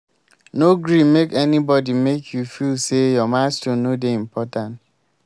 no gree make anybodi make you feel sey your milestone no dey important.